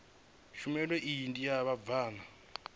tshumelo iyi ndi ya vhabvann